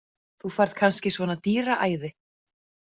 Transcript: Þú færð kannski svona dýraæði.